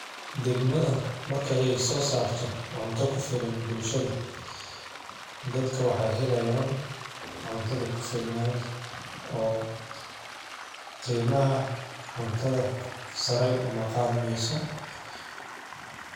Degmada markaya ay soo saarto cunto ku filan bulshada. Dadka waxay helayaan cuntada ku filnaan oo qiimaha cuntada saray uma qaadanayso.